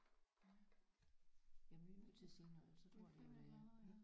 Ja jamen vi må til at sige noget ellers så tror de vi er